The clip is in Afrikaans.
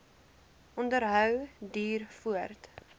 onderhou duur voort